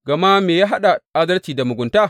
Gama me ya haɗa adalci da mugunta?